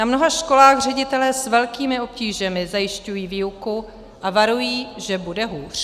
Na mnoha školách ředitelé s velkými obtížemi zajišťují výuku a varují, že bude hůř.